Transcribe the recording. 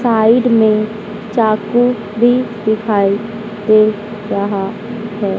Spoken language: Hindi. साइड में चाकू भी दिखाई दे रहा है।